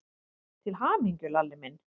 Til hamingju, Lalli minn.